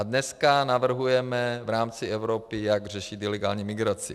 A dneska navrhujeme v rámci Evropy, jak řešit ilegální migraci.